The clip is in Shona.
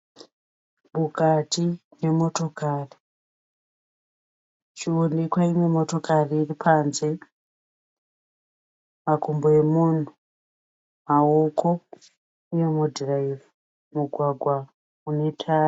Mukati nemotokari muchiwonekwa imwe motokari iripanze. Makumbo emunhu. Ruoko rwemunhu anodhiraivha. Mugwagwa unetara.